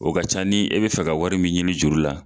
O ka ca ni e be fɛ ka wari min ɲini juru la.